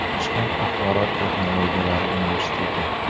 Toshkent axborot texnologiyalari universiteti.